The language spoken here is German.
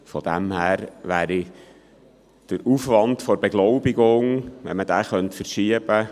Von dem her gesehen wäre es sicher eine verlockende Aussicht, den Aufwand für die Beglaubigung zur STA hin zu verschieben.